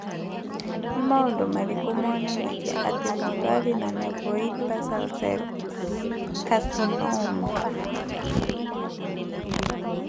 Nĩ maũndũ marĩkũ monanagia atĩ mũndũ arĩ na Nevoid basal cell carcinoma?